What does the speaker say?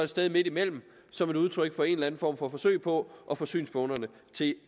sted midtimellem som et udtryk for en eller anden form for forsøg på at få synspunkterne til